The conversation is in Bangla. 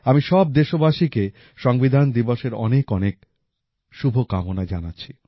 আমি সব দেশবাসীকে সংবিধান দিবসের অনেকঅনেক শুভকামনা জানাচ্ছি